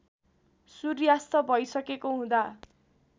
सूर्यास्त भइसकेको हुँदा